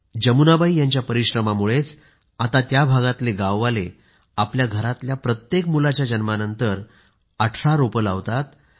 जमुनाबाईजी यांच्या परिश्रमामुळेच आता त्या भागातले गाववाले आपल्या घरातल्या प्रत्येक मुलाच्या जन्मानंतर 18 झाडं लावतात